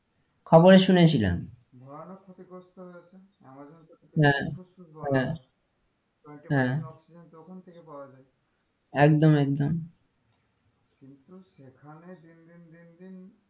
খবরে শুনেছিলাম ভয়ানক ক্ষতিগ্রস্থ হয়েছিল আমাজানের হ্যাঁ হ্যাঁ হ্যাঁ oxygen তো ওখান থেকে পাওয়া যাই একদম একদম কিন্তু সেখানে দিনদিন দিনদিন,